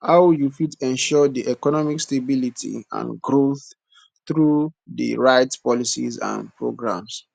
how you fit ensure di economic stability and growth through di right policies and programs